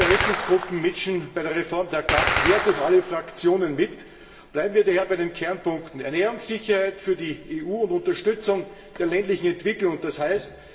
Ja, viele Interessengruppen mischen bei der Reform der GAP quer durch alle Fraktionen mit. Bleiben wir daher bei den Kernpunkten Ernährungssicherheit für die EU und Unterstützung der ländlichen Entwicklung d. h.